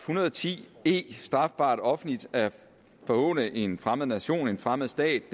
hundrede og ti e strafbart offentligt at forhåne en fremmed nation en fremmed stat